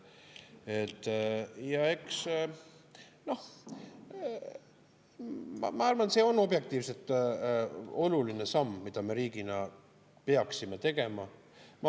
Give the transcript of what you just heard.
Ma arvan, et see on objektiivselt oluline samm, mida me riigina peaksime tegema.